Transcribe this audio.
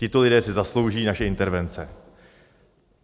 Tito lidé si zaslouží naše intervence.